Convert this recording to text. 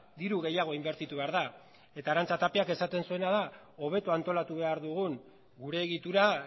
diru gehiago inbertitu behar da eta arantza tapiak esaten zuena da hobeto antolatu behar dugun gure egitura